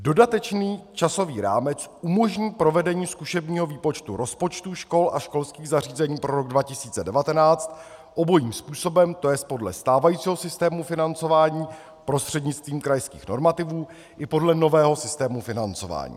Dodatečný časový rámec umožní provedení zkušebního výpočtu rozpočtů škol a školských zařízení pro rok 2019 obojím způsobem, to jest podle stávajícího systému financování prostřednictvím krajských normativů i podle nového systému financování.